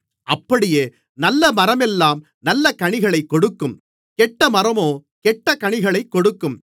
அப்படியே நல்லமரமெல்லாம் நல்லகனிகளைக் கொடுக்கும் கெட்டமரமோ கெட்டகனிகளைக் கொடுக்கும்